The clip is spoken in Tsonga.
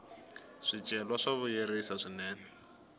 swicelwa swa vuyerisa swinene